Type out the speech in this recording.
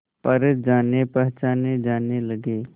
पर जानेपहचाने जाने लगे